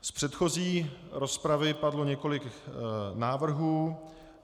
Z předchozí rozpravy padlo několik návrhů.